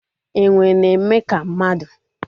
Enwe na-eme ka mmadu